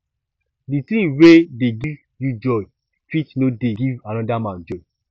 di thing wey dey give you joy fit no dey give anoda man joy